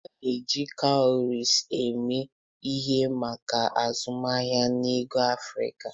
A na-eji kawurisi eme ihe maka azụmaahịa na ego n'Afrika.